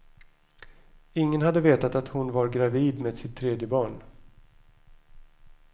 Ingen hade vetat att hon var gravid med sitt tredje barn.